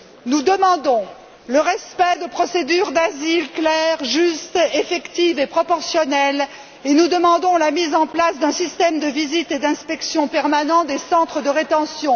Nous demandons le respect de procédures d'asile claires, justes, effectives et proportionnelles, et nous demandons la mise en place d'un système de visites et d'inspections permanent des centres de rétention.